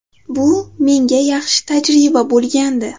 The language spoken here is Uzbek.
Bu menga yaxshi tajriba bo‘lgandi.